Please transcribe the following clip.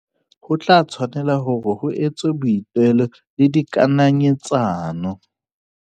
Ho tla tshwanela hore ho etswe boitelo le dikananyetsa no.